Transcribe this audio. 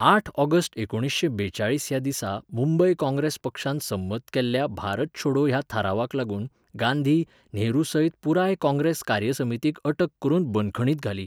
आठ ऑगस्ट एकुणिशें बेचाळीस ह्या दिसा मुंबय काँग्रेस पक्षान संमत केल्ल्या भारत छोडो ह्या थारावाक लागून गांधी, नेहरूसयत पुराय काँग्रेस कार्यसमितीक अटक करून बंदखणींत घाली.